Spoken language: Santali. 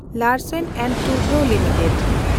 Larsen and Toubro limited